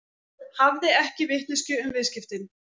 Hafði ekki vitneskju um viðskiptin